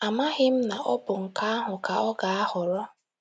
Amaghị m na ọ bụ nke ahụ ka ọ ga - ahọrọ!